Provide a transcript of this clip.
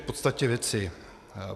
K podstatě věci.